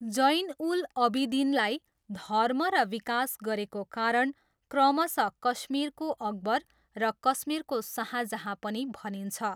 जैन उल अबिदिनलाई धर्म र विकास गरेको कारण क्रमशः कश्मीरको अकबर र कश्मीरको शाहजहाँ पनि भनिन्छ।